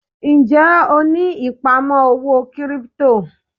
Ń jẹ́ ó ní ìpamọ́ owó kírípítò?